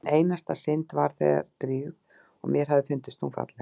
Mín einasta synd var þegar drýgð og mér hafði fundist hún falleg.